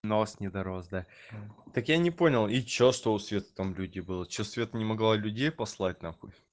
нос не дорос да так я не понял и что что у светы там люди были что света не могла людей послать нахуй